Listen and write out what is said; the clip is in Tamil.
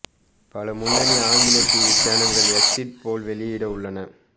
பல முன்னணி ஆங்கில டிவி சேனல்கள் எக்சிட் போல் வெளியிட உள்ளன